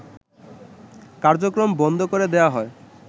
কার্যক্রম বন্ধ করে দেওয়া হয়